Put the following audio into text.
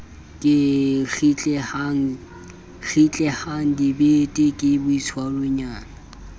ke kgitlehang dibete ke boitshwaronyana